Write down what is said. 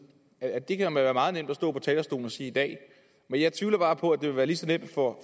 at det kan være meget nemt at stå på talerstolen og sige i dag men jeg tvivler bare på at det vil være lige så nemt for